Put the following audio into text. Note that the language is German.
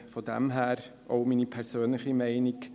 Von daher auch meine persönliche Meinung: